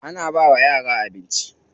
Ana bawa yara abinci.